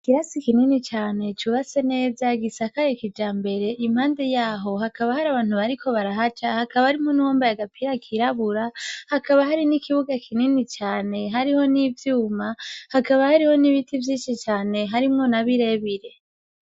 Kirasi ikinini cane cubase neza gisakaye kija mbere impande yaho hakaba hari abantu bariko barahaca hakaba harimwo n'uwomba yea gapira kirabura hakaba hari n'ikibuga kinini cane hariho n'ivyuma hakaba hariho n'ibiti vyinshi cane harimwo na birebire.